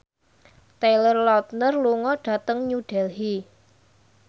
Taylor Lautner lunga dhateng New Delhi